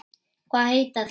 Hvað heita þeir?